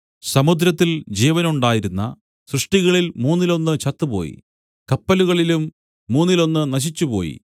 സമുദ്രത്തിൽ ജീവനുണ്ടായിരുന്ന സൃഷ്ടികളിൽ മൂന്നിലൊന്നു ചത്തുപോയി കപ്പലുകളിലും മൂന്നിലൊന്നു നശിച്ചുപോയി